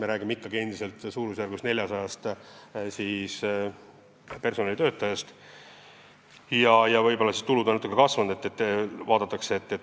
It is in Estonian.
Me räägime endiselt suurusjärgus 400 töötajast ja võib-olla tulud on natuke kasvanud.